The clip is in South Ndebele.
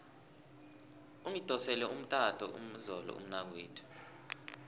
ungidosele umtato izolo umnakwethu